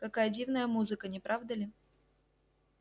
какая дивная музыка не правда ли